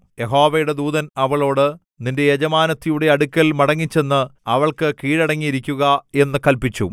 യഹോവയുടെ ദൂതൻ അവളോട് നിന്റെ യജമാനത്തിയുടെ അടുക്കൽ മടങ്ങിച്ചെന്ന് അവൾക്ക് കീഴടങ്ങിയിരിക്കുക എന്നു കല്പിച്ചു